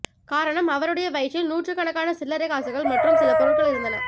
காரணம் அவருடைய வயிற்றில் நூற்றுக்கணக்கான சில்லறை காசுகள் மற்றும் சில பொருட்கள் இருந்தன